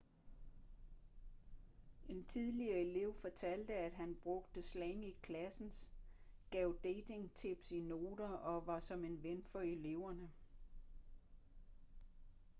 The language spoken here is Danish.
en tidligere elev fortalte at han 'brugte slang i klassen gav dating-tips i noter og var som en ven for eleverne.'